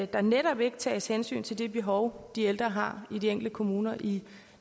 der netop ikke tages hensyn til det behov de ældre har i de enkelte kommuner i